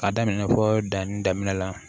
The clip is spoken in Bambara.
K'a daminɛ fɔ danni daminɛ la